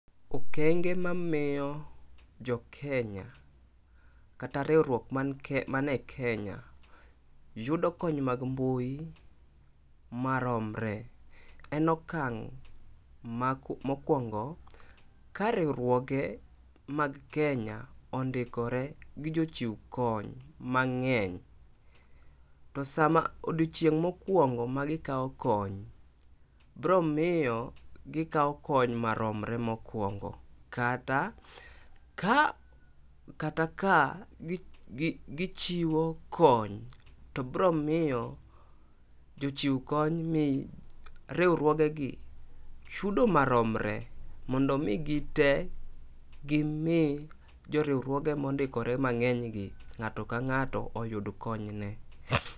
Okenge mamiyo jokenya kata riwruok mane Kenya yudo kony mag mbui maromre en okang mokuongo, ka riwruoge mag Kenya ondikore gi jochiw kony mangeny to sama, odiochieng mokuongo ma gikaw kony biro miyo gikaw kony maromre mokuongo kata ka ,kata ka gichiwo kony to bro miyo jochiw kony mi riwruoge gi chudo maromre mondo mi gitee gimi riwruoge mondikore mangeny gi ngato ka ngato oyud kony ne